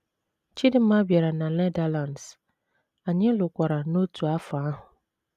Chidinma bịara na Netherlands, anyị lụkwara n’otu afọ ahụ.